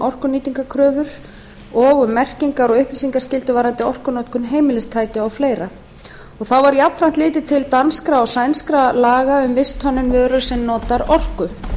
orkunýtnikröfur lög númer sjötíu og tvö nítján hundruð níutíu og fjögur um merkingar og upplýsingaskyldu varðandi orkunotkun heimilistækja og fleira auk danskra og sænskra laga um visthönnun vöru sem notar orku